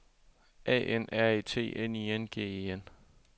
A N R E T N I N G E N